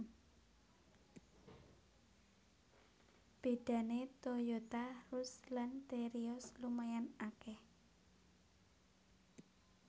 Bedané Toyota Rush lan Terios lumayan akèh